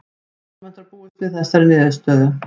Almennt var búist við þessari niðurstöðu